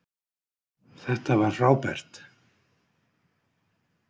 Þetta var frábært!